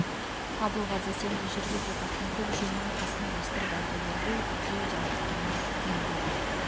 абылғазы сен де жүр деп жатақтың көп жиынын қасына ілестіріп алды ербол екеу де аттарына мінбеді